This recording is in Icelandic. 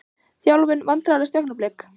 Þjálfun Vandræðalegasta augnablik?